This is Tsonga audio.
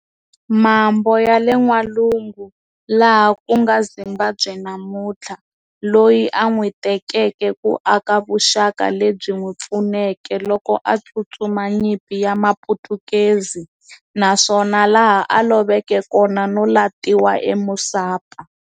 Mambo yale n'walungu laha kunga Zimbabwe namunthla, loyi an'witekeke ku aka vuxaka, lebyi n'wipfuneke loko a tsutsuma nyimpi ya maphutukezi, naswona laha a loveke kona no latiwa eMusapa.